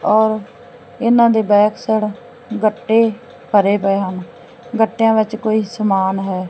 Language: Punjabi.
ਔਰ ਇਹਨਾਂ ਦੇ ਬੈਕ ਸਾਈਡ ਗੱਟੇ ਭਰੇ ਪਏ ਹਨ ਗੱਟਿਆਂ ਵਿੱਚ ਕੋਈ ਸਮਾਨ ਹੈ।